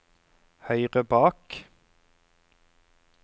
høyre bak